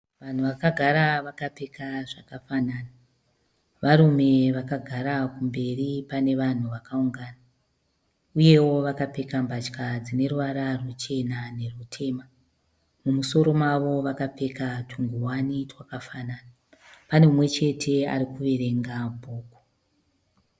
Vanhu vakagara vakapfeka zvakafanana. Varume vakagara kumberi pane vanhu vakaungana uye vakapfeka mbatya dzine ruvara ruchena nerutema Mumumusoro mavo vakapfeka tungowani twakafanana. Pane umwe chete ari kuverenga bhuku.